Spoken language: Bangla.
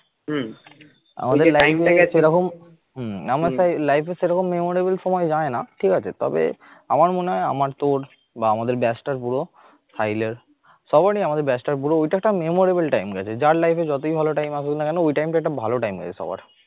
হম আমার life সেরকম memorable সময় যায় না ঠিক আছে তবে আমার মনে হয় আমার তোর বা আমাদের batch টার পুরো সবারই আমাদের batch টার পুরো ওই টা একটা memorable time গেছে। যার life যতই ভালো time আসুক না কেন ওই time টা ভালো. time গেছে সবার